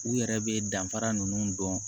U yɛrɛ bɛ danfara ninnu dɔn